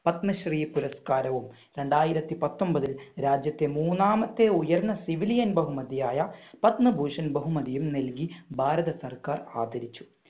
പത്മശ്രീ പുരസ്കാരവും രണ്ടായിരത്തി പത്തൊൻപതിൽ രാജ്യത്തെ മൂന്നാമത്തെ ഉയർന്ന സിവിലിയൻ ബഹുമതിയായ പത്മഭൂഷൻ ബഹുമതിയും നൽകി ഭാരത സർക്കാർ ആദരിച്ചു.